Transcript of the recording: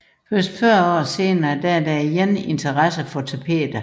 Først 40 år senere er der igen interesse for tapeter